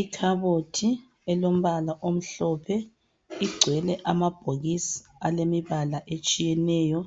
Ikhabothi elombala omhlophe igcwele amabhokisi alemibala etshiyeneyo.